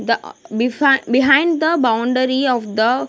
The ah beside behind the boundary of the --